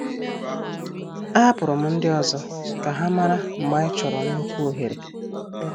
A hapụrụ m ndị ọzọ ka ha mara mgbe anyị chọrọ nnukwu ohere.